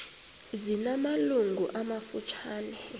zina malungu amafutshane